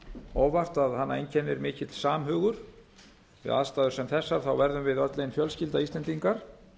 óvart að hana einkennir mikill samhugur við aðstæður sem þessar verðu við öll ein fjölskylda íslendingar